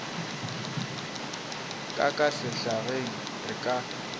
ka ka sehlageng re ka